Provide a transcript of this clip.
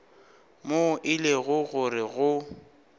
moo e lego gore go